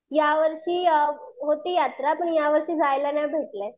यावर्षी होती यात्रा पण यावर्षी जायला नाही भेटलं.